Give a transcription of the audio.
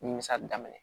Nimisali daminɛ